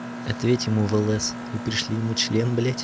ответь ему в лс и пришли ему член блядь